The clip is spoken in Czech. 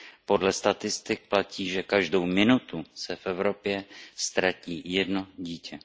Podle statistik platí, že každou minutu se v Evropě ztratí jedno dítě.